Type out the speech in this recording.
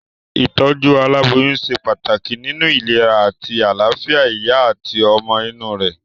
Ìtójú aláboyún se pàtàkì nínu ìlera àti àláfìa ìyá àti ọmọ inú rè